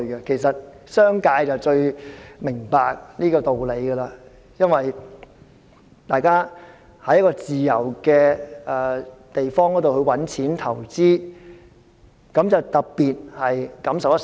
其實，商界最明白這個道理，因為大家在自由的地方賺錢投資，特別感受良深。